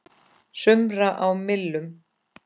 sumra á millum.